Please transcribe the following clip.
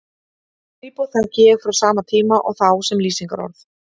Skrípó þekki ég frá sama tíma og þá sem lýsingarorð.